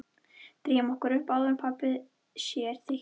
Drífum okkur upp áður en pabbi sér þig hérna